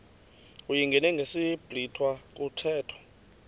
uyingene ngesiblwitha kuthethwa